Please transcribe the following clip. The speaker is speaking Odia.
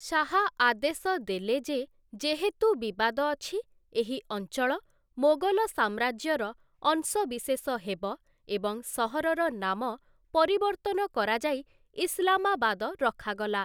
ଶାହା ଆଦେଶ ଦେଲେ ଯେ, ଯେହେତୁ ବିବାଦ ଅଛି, ଏହି ଅଞ୍ଚଳ ମୋଗଲ ସାମ୍ରାଜ୍ୟର ଅଂଶବିଶେଷ ହେବ ଏବଂ ସହରର ନାମ ପରିବର୍ତ୍ତନ କରାଯାଇ ଇସଲାମାବାଦ ରଖାଗଲା ।